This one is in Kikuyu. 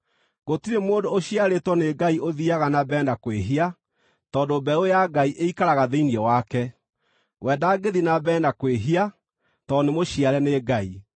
Gũtirĩ mũndũ ũciarĩtwo nĩ Ngai ũthiiaga na mbere na kwĩhia, tondũ mbeũ ya Ngai ĩikaraga thĩinĩ wake; we ndangĩthiĩ na mbere na kwĩhia, tondũ nĩmũciare nĩ Ngai.